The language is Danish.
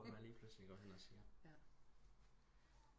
Hvor man lige pludselig bare går hen og siger